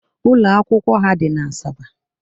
Ụlọ akwụkwọ ha dị n'Asaba